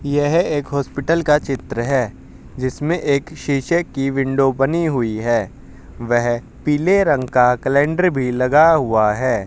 यह एक हॉस्पिटल का चित्र है जिसमें एक शीशे की विंडो बनी हुई है वहे पीले रंग का कैलेंडर भी लगा हुआ है।